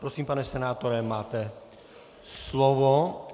Prosím, pane senátore, máte slovo.